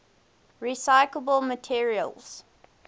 recyclable materials